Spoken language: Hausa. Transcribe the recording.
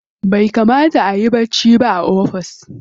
Bai kamata ayi bacci ba a ofis.